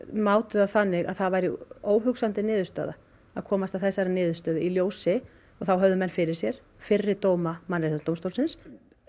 mátu það þannig að það væri óhugsandi niðurstaða að komast að þessari niðurstöðu í ljósi og þá höfðu menn fyrir sér fyrri dóma Mannréttindadómstólsins